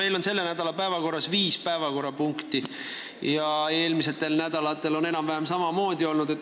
Meil on selle nädala päevakorras viis päevakorrapunkti ja eelmistel nädalatel on olnud enam-vähem samamoodi.